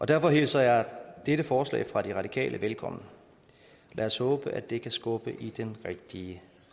derfor hilser jeg dette forslag fra de radikale velkommen lad os håbe at det kan skubbe i den rigtige